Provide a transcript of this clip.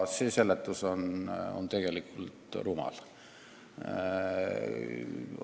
See seletus on tegelikult rumal.